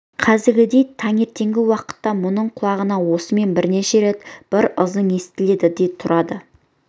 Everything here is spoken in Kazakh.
қазіргідей таңертеңгі уақытта мұның құлағына осымен бірнеше рет бір ызың естіледі де тұрады